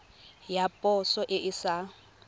ya poso e e sa